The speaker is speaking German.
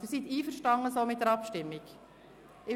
Sind Sie so mit der Abstimmung einverstanden?